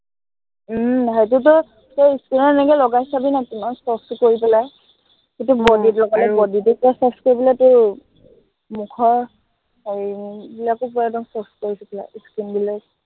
উম সেইটোতো তই skin ত এনেকে লগাই চাবি না, কিমান soft কৰি পেলাই। সেইটো body ত লগালে body টো পূৰা soft কৰি পেলাই তোৰ মুখৰ হেৰি উম এইবিলাকো পূৰা soft কৰি দিয়ে skin বিলাক